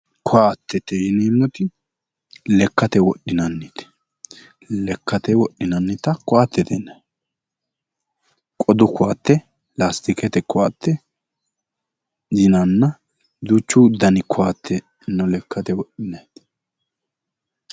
Ko'attete yineemmoti lekkate wodhinannite lekkate wodhinannita ko'attete yinanni qodu ko'atte laastikete ko'atte yinanna duuchu dani ko'atte no lekkate wodhinayiti